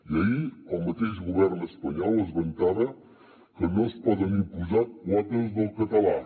i ahir el mateix govern espanyol es vantava que no es poden imposar quotes del català